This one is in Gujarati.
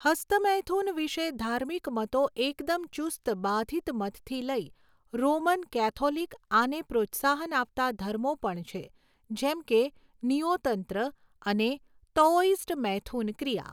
હસ્તમૈથુન વિષે ધાર્મિક મતો એકદમ ચુસ્ત બાધિત મતથી લઈ રોમન કેથોલિક આને પ્રોત્સાહન આપતાં ધર્મો પણ છે જેમકે નીઓતંત્ર અને તઓઈસ્ટ મૈથુન ક્રિયા.